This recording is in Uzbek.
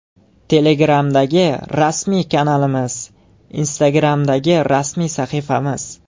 Telegramdagi rasmiy kanalimiz: Instagramdagi rasmiy sahifamiz: .